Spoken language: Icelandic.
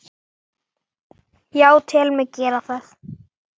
Já, tel mig gera það.